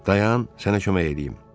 Dayan, sənə kömək eləyim.